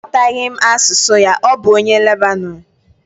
Aghọtaghị m asụsụ ya, ọ bụ onye Lebanọn